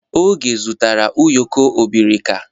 Oge zụtara ụyọkọ abirika.